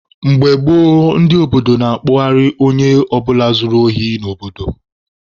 Mgbe gboo, ndị obodo na-akpụgharị onye ọ bụla zuru ohi n'obodo.